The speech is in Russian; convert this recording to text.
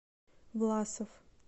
власов